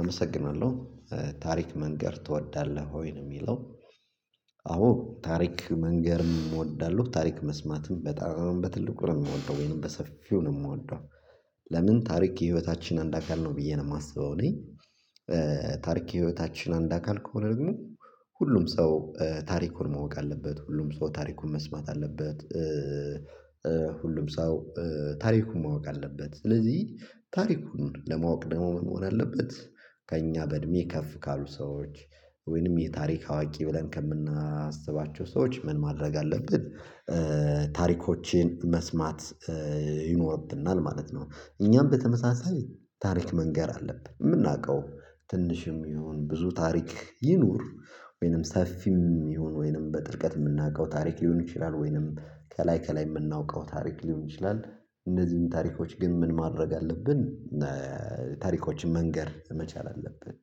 አመሰግናለሁ ታሪክ መንገር ትወዳለህ ወይ? ነው የሚለው አዎ ታሪክ መንገርም እወዳለሁ ታሪክ መስማትም በጣም በትልቁ ነው የምወደው ወይም በሰፊው ነው የምወደው ለምን ታሪክ የህይወታችን አንድ አካል ነው ብዬ ነው የማስበው እኔ ታሪክ የህይወታችን አንድ አካል ከሆነ ደግሞ ሁሉም ሰው ታሪኩን ማወቅ አለበት ሁሉም ሰው ታሪኩን መስማት አለበት ሁሉም ሰው ታሪኩን ማወቅ አለበት ስለዚህ ታሪኩን ለማወቅ ደግሞ መሆን አለበት ከእኛ በእድሜ ከፍ ካሉ ሰዎች ወይንም የታሪክ አዋቂ ብለን ከምናስባቸው ሰዎች ምን ማድረግ አለብን ታሪኮችን መስማት ይኖርብናል ማለት ነው እኛም በተመሳሳይ ታሪክ መንገር አለብን የምናውቀው ትንሽም ይሁን ብዙ ታሪክ ይኑር ወይንም ሰፊም ይሁን ወይንም በጥልቀት የምናውቀው ታሪክ ሊሆን ይችላል ወይንም ከላይ ከላይ የምናውቀው ታሪክ ሊሆን ይችላል እነዚህን ታሪኮች ግን ምን ማድረግ አለብን ታሪኮችን መንገር መቻል አለብን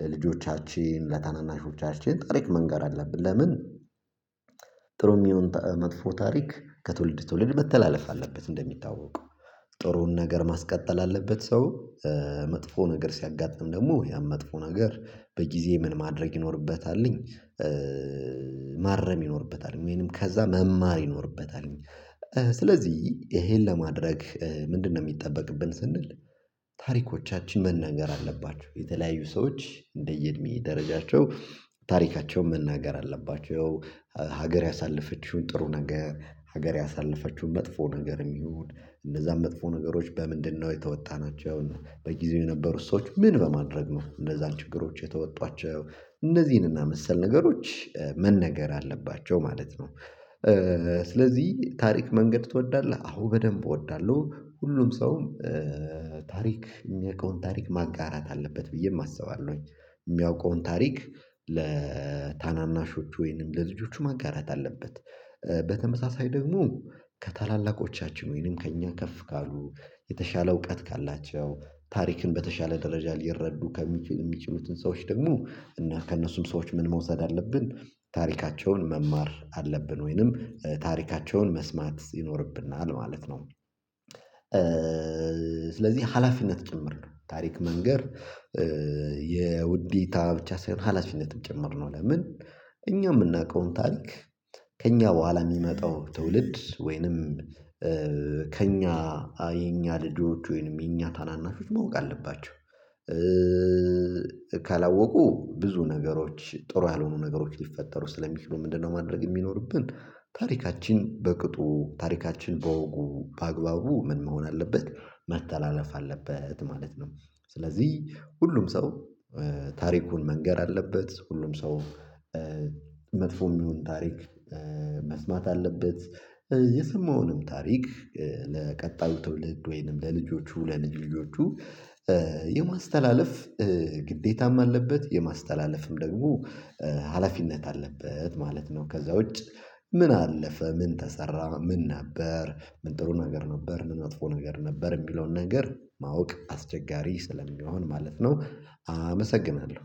ለልጆቻችን ለታናናሾቻችን ታሪክ መንገር አለብን ለምን ጥሩም ይሁን መጥፎ ታሪክ ከትውልድ ትውልድ መተላለፍ አለበት እንደሚታወቀው ጥሩውን ነገር ማስቀጠል አለበት ሰው መጥፎ ነገር ሲያጋጥም ደግሞ ያን መጥፎ ነገር በጊዜ ምን ማድረግ ይኖርበታልኝ ማረም ይኖርበታል ወይንም ከዛ መማር ይኖርበታል ስለዚህ ይሄን ለማድረግ ምንድነው የሚጠበቅብን ስንል ታሪኮቻችን መናገር አለባቸው የተለያዩ ሰዎች እንደየእድሜ ደረጃቸው ታሪካቸውን መናገር አለባቸው ሀገር ያሳለፈችውን ጥሩ ነገር ሀገር ያሳለፈችውን መጥፎ ነገርም ይሁን እነዛን መጥፎ ነገሮች በምንድነው የተወጣናቸውን በጊዜው የነበሩት ሰዎች ምን በማድረግ ነው እነዛን ችግሮች የተወጧቸው እነዚህንና መሰል ነገሮች መነገር አለባቸው ማለት ነው ስለዚህ ታሪክ መንገር ትወዳለህ? አዎ በደንብ እወዳለሁ ሁሉም ሰው ታሪክ የሚያውቀውን ታሪክ ማጋራት አለበት ብዬም አስባለሁኝ የሚያውቀውን ታሪክ ለታናናሾች ወይንም ለልጆቹ ማጋራት አለበት በተመሳሳይ ደግሞ ከታላላቆቻችን ወይንም ከእኛ ከፍ ካሉ የተሻለ እውቀት ካላቸው ታሪክን በተሻለ ደረጃ ሊረዱ ከሚችሉት የሚችሉትን ሰዎች ደግሞ እና ከእነሱም ሰዎች ምን መውሰድ አለብን ታሪካቸውን መማር አለብን ወይንም ታሪካቸውን መስማት ይኖርብናል ማለት ነው ስለዚህ ሀላፊነት ጭምር ታሪክ መንገር የውዴታ ብቻ ሳይሆን ሀላፊነትም ጭምር ነው ለምን እኛ የምናውቀውን ታሪክ ከእኛ በኋላ የሚመጣው ትውልድ ወይንም ከእኛ የኛ ልጆች ወይንም የኛ ታናናሾች ማወቅ አለባቸው ካላወቁ ብዙ ነገሮች ጥሩ ያልሆኑ ነገሮች ሊፈጠሩ ስለሚችሉ ምንድነው ማድረግ የሚኖርብን ታሪካችን በቅጡ ታሪካችን በወጉ በአግባቡ ምን መሆን አለበት መተላለፍ አለበት ማለት ነው ስለዚህ ሁሉም ሰው ታሪኩን መንገር አለበት ሁሉም ሰው መጥፎም ይሁን ታሪክ መስማት አለበት የሰማውንም ታሪክ ለቀጣዩ ትውልድ ወይንም ለልጆቹ ለልጅ ልጆቹ የማስተላለፍ ግዴታም አለበት የማስተላለፍም ደግሞ ሀላፊነት አለበት ማለት ነው ከዛ ውጭ ምን አለፈ ምን ተሰራ ምን ነበር ምን ጥሩ ነገር ነበር ምን ወጥፎ ነገር ነበር የሚለውን ነገር ማወቅ አስቸጋሪ ስለሚሆን ማለት ነው አመሰግናለሁ